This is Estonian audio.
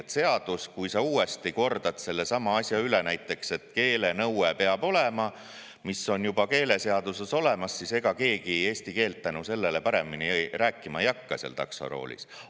Kui seaduses uuesti korrata seesama asi üle, näiteks, et keele peab olema – on juba keeleseaduses olemas –, siis ega keegi eesti keelt tänu sellele paremini rääkima ei hakka seal taksoroolis.